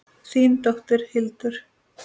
Þín dóttir, Hildur.